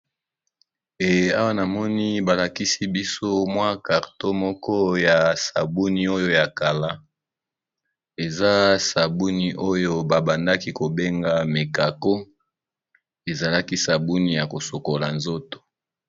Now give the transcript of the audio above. Awa na moni balakisi biso mwa karto moko ya sabuni oyo ya kala, eza sabuni oyo babandaki kobenga mekako, ezalaki sabuni ya kosokola nzoto.